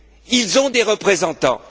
Ils ont des représentants.